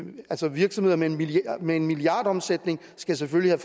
virksomheder med med milliardomsætning skal selvfølgelig